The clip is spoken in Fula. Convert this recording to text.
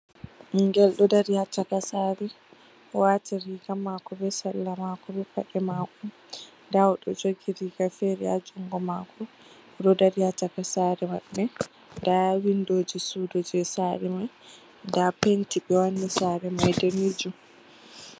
Ɓingel ɗo dari ha caka Saare, o waati riga maako be salla maako be paɗe maako, nda oɗo jogi riga fere ha jungo maako, oɗo dari ha caka Saare maɓɓe, nda windoji suudu jei saare mai nda penti ɓe wanni saare mai daneejum.